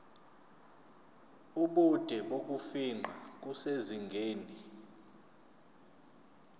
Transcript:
ubude bokufingqa kusezingeni